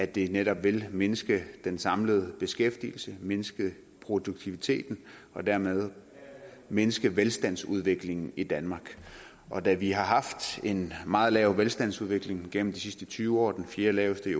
det netop vil mindske den samlede beskæftigelse mindske produktiviteten og dermed mindske velstandsudviklingen i danmark og da vi har haft en meget lav velstandsudvikling igennem de sidste tyve år den fjerdelaveste i